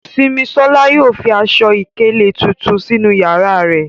Simisola yóò fi aṣọ-ìkéle tuntun sinu yara rẹ